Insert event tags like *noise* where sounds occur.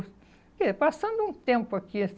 *unintelligible* passando um tempo aqui,